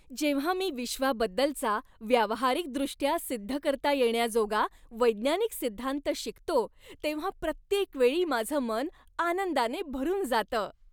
जेव्हा मी विश्वाबद्दलचा व्यावहारिकदृष्ट्या सिद्ध करता येण्याजोगा वैज्ञानिक सिद्धांत शिकतो तेव्हा प्रत्येक वेळी माझं मन आनंदाने भरून जातं.